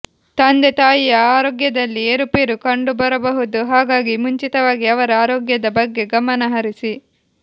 ತಂದೆ ತಾಯಿಯ ಆರೋಗ್ಯದಲ್ಲಿ ಏರುಪೇರು ಕಂಡುಬರಬಹುದು ಹಾಗಾಗಿ ಮುಂಚಿತವಾಗಿ ಅವರ ಆರೋಗ್ಯದ ಬಗ್ಗೆ ಗಮನ ಹರಿಸಿ